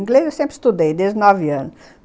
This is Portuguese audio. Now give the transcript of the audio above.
Inglês eu sempre estudei, desde os nove anos.